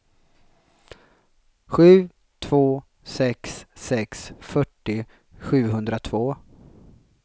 sju två sex sex fyrtio sjuhundratvå